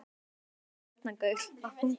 Hann var kominn með garnagaul af hungri.